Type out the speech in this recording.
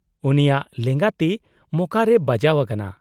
-ᱩᱱᱤᱭᱟᱜ ᱞᱮᱸᱜᱟ ᱛᱤ ᱢᱚᱠᱟ ᱨᱮᱭ ᱵᱟᱡᱟᱣ ᱟᱠᱟᱱᱟ ᱾